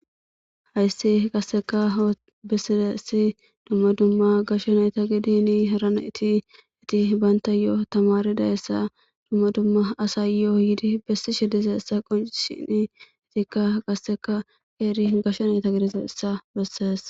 hayssi qasseka bessidessi dumma dumma gashsho nayta gidiini harana iti iti baynta yoo tamaridayessa dumma dumma asa yo7o yidi bessi she dize essa qonshini itikka qasseka qeeri gashsha nayta gidize issa bessees